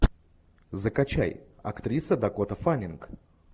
закачай актриса дакота фаннинг